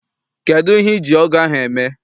Kedụ ihe iji ọgụ ahụ eme?